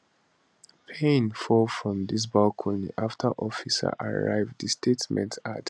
payne fall from di balcony after officers arrive di statement add